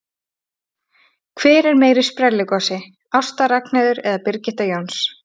Hver er meiri sprelligosi, Ásta Ragnheiður eða Birgitta Jóns?